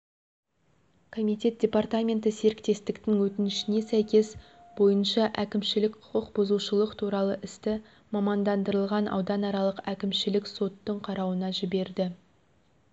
комитет департаменті серіктестіктің өтінішіне сәйкес бойынша әкімшілік құқықбұзушылық туралы істі мамандандырылған ауданаралық әкімшілік соттың қарауына жіберді